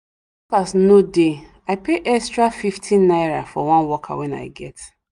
no dey i pay extra fifty naira for one worker wen i get